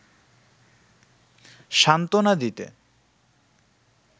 সান্ত্বনা দিতে